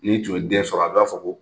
N'i tun ye den sɔrɔ a b'a fɔ ko